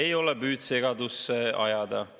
Ei ole püüd segadusse ajada.